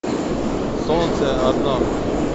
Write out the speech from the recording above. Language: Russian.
солнце одно